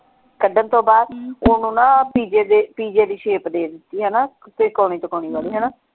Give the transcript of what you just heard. ਕੱਢਣ ਤੋਂ ਬਾਅਦ ਓਹਨੂੰ ਨਾ ਪੀਜ਼ੇ ਦੇ ਪੀਜ਼ੇ ਦੀ shape ਦੇ ਦਿਤੀ ਹਣਾ ਤ੍ਰਿਕੋਨੀ ਤ੍ਰਿਕੋਨੀ ਵਾਲੀ ਹਣਾ।